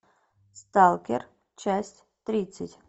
сталкер часть тридцать